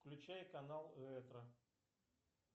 включай канал ретро